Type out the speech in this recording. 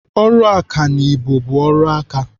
Ọrụ ọkanibo bụ ọrụ aka.